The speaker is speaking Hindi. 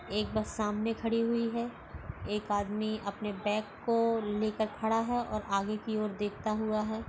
एक बस सामने खड़ी हुई है एक आदमी अपने बैग को लेकर खड़ा है और आगे की ओर देखता हुआ है।